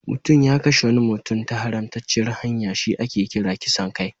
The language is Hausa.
Mutum ya kashe wani mutum ta haramtacciyar hanya shi ake kira kisan kai.